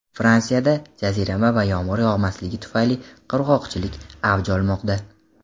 Fransiyada jazirama va yomg‘ir yog‘masligi tufayli qurg‘oqchilik avj olmoqda.